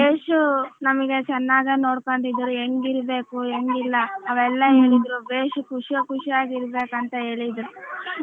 ಬೇಶು ನಮಿಗ ಚೆನ್ನಾಗ ನೋಡಕೋಂಡಿದ್ರು ಎಂಗ ಇರಬೇಕು ಎಂಗಿಲ್ಲ ಅವೆಲ್ಲ ಹೇಳಿದರು ಬೇಸ್ ಖುಷಿ ಖುಷಿಯಾಗ ಇರಬೇಕು ಅಂತ ಹೇಳಿದ್ರು.